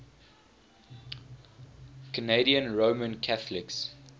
canadian roman catholics